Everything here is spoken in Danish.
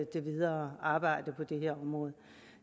det videre arbejde på det her område